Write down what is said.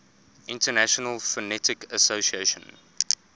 international phonetic association